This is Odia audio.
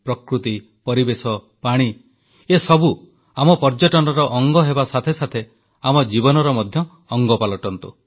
ପ୍ରକୃତି ପରିବେଶ ପାଣି ଏସବୁ ଆମ ପର୍ଯ୍ୟଟନର ଅଙ୍ଗ ହେବା ସାଥେ ସାଥେ ଆମ ଜୀବନର ମଧ୍ୟ ଅଙ୍ଗ ପାଲଟନ୍ତୁ